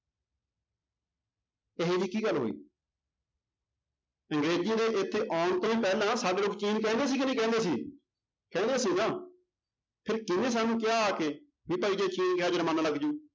ਇਹ ਜਿਹੀ ਕੀ ਗੱਲ ਹੋਈ ਅੰਗਰੇਜੀ ਦੇ ਇੱਥੇ ਆਉਣ ਤੋਂ ਹੀ ਪਹਿਲਾਂ ਸਾਡੇ ਲੋਕ ਚੀਨ ਕਹਿੰਦੇ ਸੀ ਕਿ ਨਹੀਂ ਕਹਿੰਦੇ ਸੀ ਕਹਿੰਦੇ ਸੀ ਨਾ ਫਿਰ ਕਿਹਨੇ ਸਾਨੂੰ ਕਿਹਾ ਆ ਕੇ ਵੀ ਭਾਈ ਜੇ ਚੀਨ ਕਿਹਾ ਜ਼ੁਰਮਾਨਾ ਲੱਗ ਜਾਊ